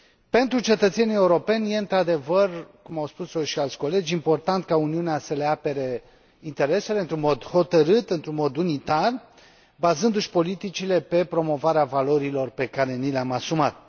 Pentru cetățenii europeni e, într adevăr, cum au spus o și alți colegi, important ca Uniunea să le apere interesele într un mod hotărât, într un mod unitar, bazându și politicile pe promovarea valorilor pe care ni le am asumat.